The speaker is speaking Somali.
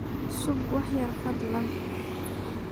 Sug wax yar fadlan.